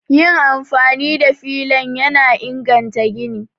Yin amfani da filan yana inganta gini